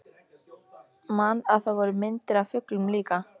Man að það voru myndir af fuglum líka.